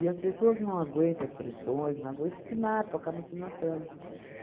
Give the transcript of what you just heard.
as pessoas não aguentam as pressões, não aguentam e se matam, acabam se matando.